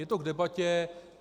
Je to k debatě.